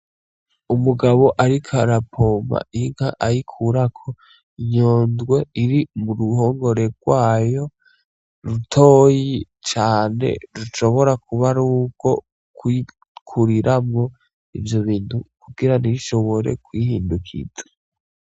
Umugabo ariko ara pompa inka ayikurako inyondwe iri mu ruhongore rwayo rutoyi cane rushobora kuba arurwo kuriramwo ivyo bintu kugira ntishobore kwihindukiza .